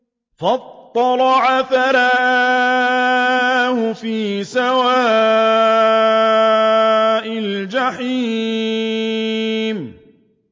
فَاطَّلَعَ فَرَآهُ فِي سَوَاءِ الْجَحِيمِ